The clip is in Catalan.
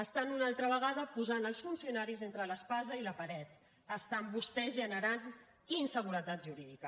estan una altra vegada posant els funcionaris entre l’espasa i la paret estan vostès generant inseguretat jurídica